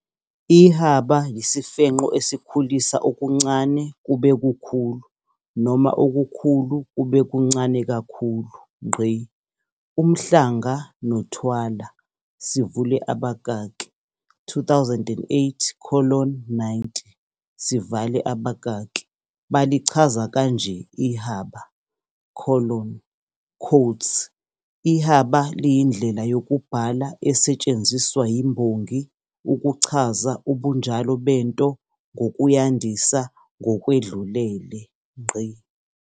Ihaba yisifenqo esikhulisa okuncane kube kukhulu noma okukhulu kube kuncane kakhulu. UMhlanga noThwala, 2008 colon 90, balichaza kanje ihaba colon quotes Ihaba liyindlela yokubhala esetshenziswa yimbongi ukuchaza ubunjalo bento ngokuyandisa ngokwedlulele.